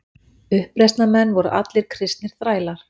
Uppreisnarmenn voru allir kristnir þrælar.